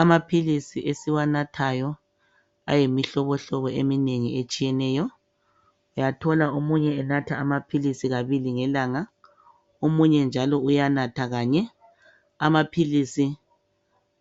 Amaphilisi esiwa nathayo ayimihlobo hlobo eminengi nengi uyathola umuntu enatha amapilizi amaphilizi